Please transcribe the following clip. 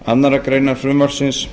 annarrar greinar frumvarpsins